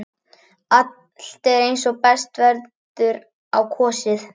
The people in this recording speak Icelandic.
Allt er eins og best verður á kosið.